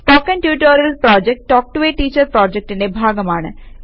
spoken tutorial project talk to a teacher പ്രോജക്റ്റിന്റെ ഭാഗമാണ്